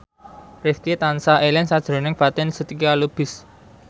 Rifqi tansah eling sakjroning Fatin Shidqia Lubis